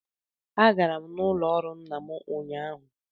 Agara m n'ụlọ ọrụ nna m ụnyahụ